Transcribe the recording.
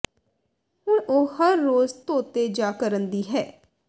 ਹੁਣ ਉਹ ਹਰ ਰੋਜ਼ ਧੋਤੇ ਜਾ ਕਰਨ ਦੀ ਹੈ